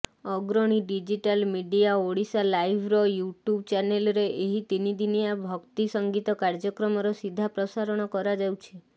ଅଗ୍ରଣୀ digital media ଓଡ଼ିଶାଲାଇଭ୍ର YouTube ଚ୍ୟାନେଲ୍ରେ ଏହି ତିନିଦିନିଆ ଭକ୍ତି ସଙ୍ଗୀତ କାର୍ଯ୍ୟକ୍ରମର ସିଧା ପ୍ରସାରଣ କରାଯାଉଛି